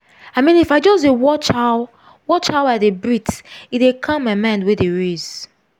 i mean if i just dey watch how watch how i dey breathe e dey calm my mind wey dey race.